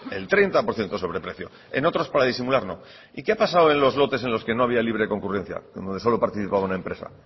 el treinta por ciento sobreprecio en otros para disimular no y qué ha pasado en los lotes en los que no había libre concurrencia donde solo participaba una empresa